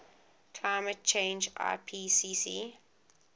climate change ipcc